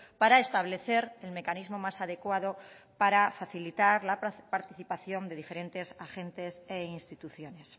para establecer el mecanismo más adecuado para facilitar la participación de diferentes agentes e instituciones